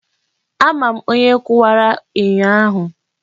Ama m onye kụwara enyo ahụ.